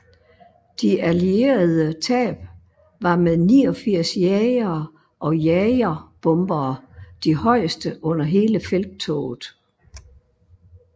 De allierede tab var med 89 jagere og jagerbombere de højeste under hele felttoget